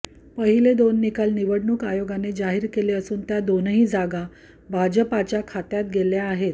पहिले दोन निकाल निवडणूक आयोगाने जाहीर केले असून त्या दोनही जागा भाजपच्या खात्यात गेल्या आहेत